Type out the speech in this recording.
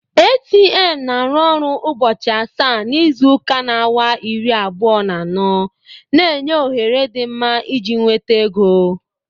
ATM na-arụ ọrụ ubochi asaa na izuka na awa iri abuo na ano, na-enye ohere dị mma iji nweta ego.